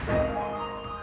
já